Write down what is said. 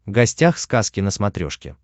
гостях сказки на смотрешке